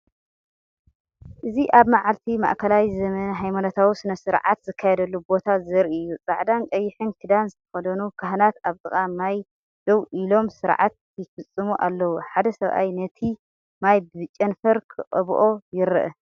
እዚ ኣብ መዓልቲ ማእከላይ ዘመን ሃይማኖታዊ ስነ-ስርዓት ዝካየደሉ ቦታ ዘርኢ እዩ። ጻዕዳን ቀይሕን ክዳን ዝተኸድኑ ካህናት ኣብ ጥቓ ማይ ደው ኢሎም ስርዓት ይፍጽሙ ኣለዉ። ሓደ ሰብኣይ ነቲ ማይ ብጨንፈር ክቐብኦ ይርአ።